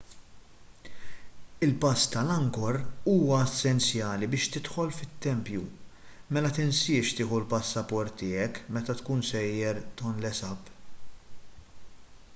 il-pass tal-angkor huwa essenzjali biex tidħol fit-tempju mela tinsiex tieħu l-passaport tiegħek meta tkun sejjer tonle sap